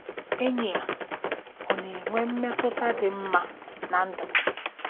Enyi a ọ̀ na-enwe mmetụta dị mma ná ndụ m? '